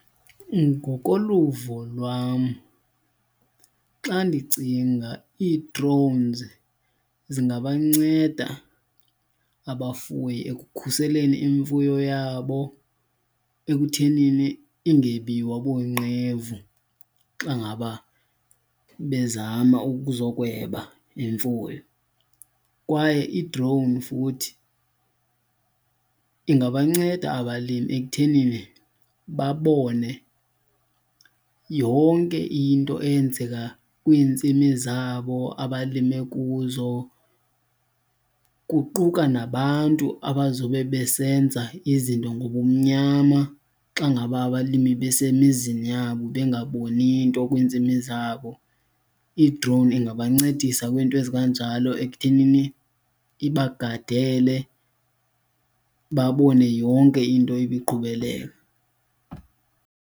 Ngokoluvo lwam, xa ndicinga ii-drones zingabanceda abafuyi ekukhuseleni imfuyo yabo ekuthenini ingebiwa boonqevu xa ngaba bezama ukuzokweba imfuyo. Kwaye i-drone futhi ingabanceda abalimi ekuthenini babone yonke into eyenzeka kwiintsimi zabo abalime kuzo, kuquka nabantu abazobe besenza izinto ngobumnyama xa ngaba abalimi besemizini yabo bengaboni nto kwintsimi zabo. I-drone ingabancedisa kwinto ezikanjalo ekuthenini ibagadele, babone yonke into ibiqhubeleka.